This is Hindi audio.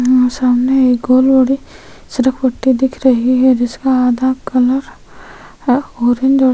सामने एक और रोड है सिर्फ पुट्ठी दिख रही है जिसका आधा कलर ऑरेंज और --